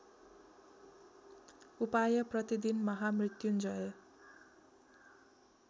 उपाय प्रतिदिन महामृत्युञ्जय